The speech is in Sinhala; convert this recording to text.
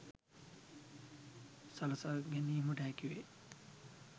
සලසා ගැනීමට හැකි වේ